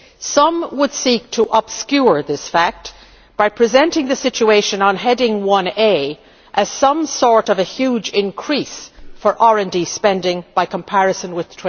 Some would seek to obscure the reality by presenting the situation on Heading 1a as some sort of a huge increase for RD spending by comparison with